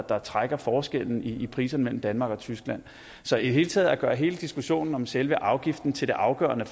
der trækker forskelle i priser mellem danmark og tyskland så i det hele taget at gøre hele diskussionen om selve afgiften til det afgørende